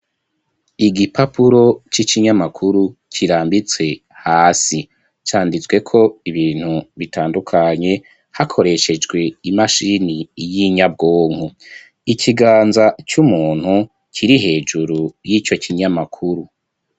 Igipapuro c'ikinyamakuru kirambitse hasi canditsweko ibintu bitandukanye hakoreshejwe imashini y'inyabwonko. Ikiganza c'umuntu kiri hejuru y'ico kinyamakuru.